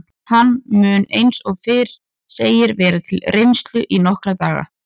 Hann mun eins og fyrr segir vera til reynslu í nokkra daga.